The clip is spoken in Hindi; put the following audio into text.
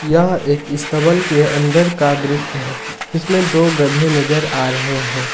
यह एक स्तबल के अंदर का दृश्य है जिसमें दो गधे नजर आ रहे है।